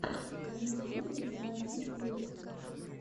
на ютьюбе заводи песни